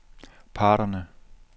parterne